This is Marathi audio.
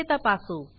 ते तपासू